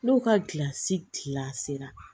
N'o ka gilansi gila sera